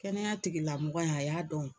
Kɛnɛya tigilamɔgɔ ye a y'a dɔn